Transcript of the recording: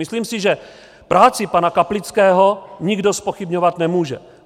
Myslím si, že práci pana Kaplického nikdo zpochybňovat nemůže.